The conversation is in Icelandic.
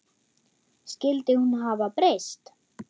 Skyldi hún hafa breyst?